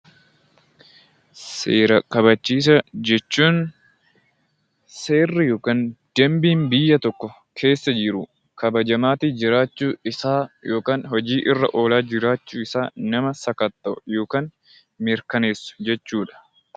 Seera kabachiisaa jechuun seerri yookaan dambiin biyya tokko keessa jiru kabajaa jiraachuu isaa yookaan hojiirra oolaa jiraachuusaa nama sakatta'u yookaan mirkaneessu jechuudha.